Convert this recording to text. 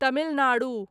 Tamil Nadu